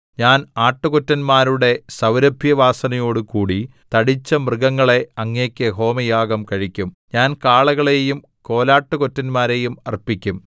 ഞാൻ ആട്ടുകൊറ്റന്മാരുടെ സൗരഭ്യവാസനയോടു കൂടി തടിച്ച മൃഗങ്ങളെ അങ്ങേക്ക് ഹോമയാഗം കഴിക്കും ഞാൻ കാളകളെയും കോലാട്ടുകൊറ്റന്മാരെയും അർപ്പിക്കും സേലാ